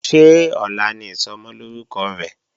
Ṣé ọ̀la ni Ìsọmọlórúkọ rẹ̀?